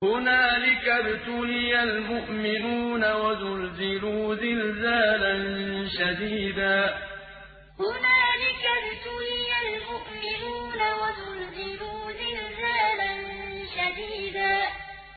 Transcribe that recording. هُنَالِكَ ابْتُلِيَ الْمُؤْمِنُونَ وَزُلْزِلُوا زِلْزَالًا شَدِيدًا هُنَالِكَ ابْتُلِيَ الْمُؤْمِنُونَ وَزُلْزِلُوا زِلْزَالًا شَدِيدًا